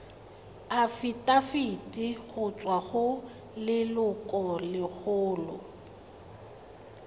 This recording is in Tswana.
afitafiti go tswa go lelokolegolo